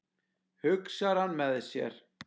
hugsar hann með sér.